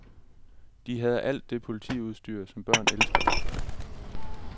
De havde alt det politiudstyr, som børn elsker.